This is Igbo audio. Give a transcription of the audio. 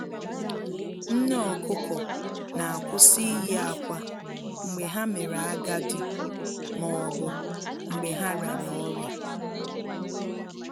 Nne ọkụkọ na kwụsị iyi akwa mgbe ha mere agadi maọbụ mgbe ha rịara ọrịa